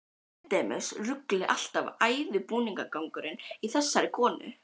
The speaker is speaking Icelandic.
Endemis ruglið alltaf og æðibunugangurinn í þessari konu.